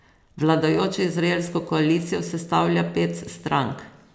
Vladajočo izraelsko koalicijo sestavlja pet strank.